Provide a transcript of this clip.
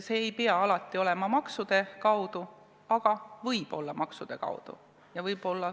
See ei pea alati käima maksude kaudu, aga võib käia maksude kaudu.